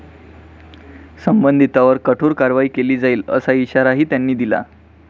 संबंधितांवर कठोर कारवाई केली जाईल असा इशाराही त्यांनी दिला.